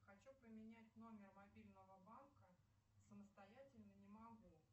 хочу поменять номер мобильного банка самостоятельно не могу